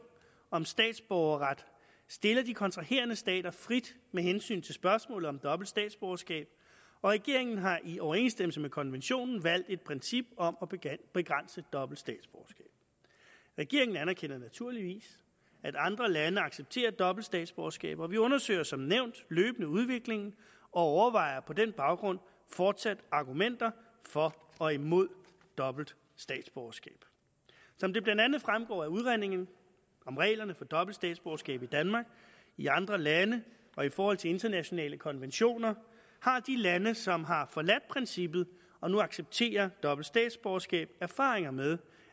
om statsborgerret stiller de kontraherende stater frit med hensyn til spørgsmålet om dobbelt statsborgerskab og regeringen har i overensstemmelse med konventionen valgt et princip om at begrænse dobbelt statsborgerskab regeringen anerkender naturligvis at andre lande accepterer dobbelt statsborgerskab og vi undersøger som nævnt løbende udviklingen og overvejer på den baggrund fortsat argumenter for og imod dobbelt statsborgerskab som det blandt andet fremgår af udredningen om reglerne for dobbelt statsborgerskab i danmark i andre lande og i forhold til internationale konventioner har de lande som har forladt princippet og nu accepterer dobbelt statsborgerskab erfaringer med